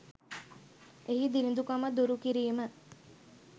එහි දිළිඳුකම දුරු කිරීම